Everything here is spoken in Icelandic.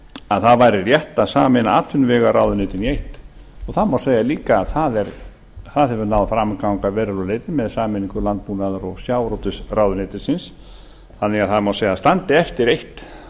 að það væri rétt að sameina atvinnuvegaráðuneytin í eitt og það má segja líka að það hefur náð fram að ganga að verulegu leyti með sameiningu landbúnaðar og sjávarútvegsráðuneytisins þannig að það má segja að það standi eftir eitt